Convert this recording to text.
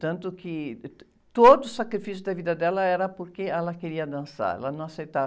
Tanto que todo o sacrifício da vida dela era porque ela queria dançar, ela não aceitava.